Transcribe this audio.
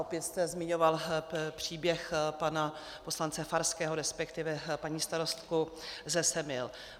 Opět jste zmiňoval příběh pana poslance Farského, respektive paní starostku ze Semil.